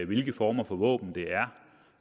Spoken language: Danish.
hvilke former for våben det